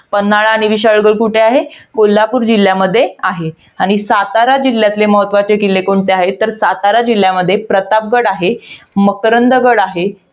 पन्हाळा आणि विशाळगड कुठे आहे? कोल्हापूर जिल्ह्यामध्ये आहे. आणि सातारा जिल्ह्यातील महत्वाचे किल्ले कोणते आहेत? तर सातारा जिल्ह्यामध्ये, प्रतापगड आहे. मकरंदगड आहे.